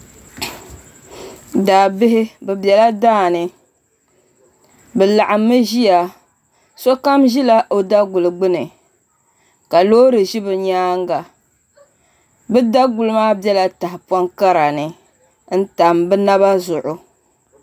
Daabihi bi biɛla daani bi laɣammi ʒiya sokam ʒila o daguli gbuni ka loori ʒi bi nyaanga bi daguli maa biɛla tahapoŋ kara ni n tam bi naba zuɣu